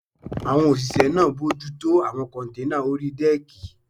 Àwọn òṣìṣẹ́ náà bojútó àwọn kọ́nténà orí dẹ́ẹ̀kì